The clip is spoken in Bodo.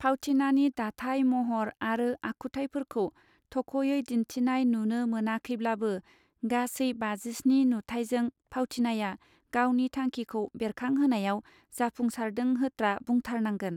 फावथिनानि दाथाय महर आरो आखुथायफोरखौ थखयै दिन्थिनाय नुनो मोनाखैब्लाबो गासै बाजिस्नि नुथायजों फावथिनाया गावनि थांखिखौ बेरखां होनायाव जाफुंसारदों होत्रा बुंथार नांगोन.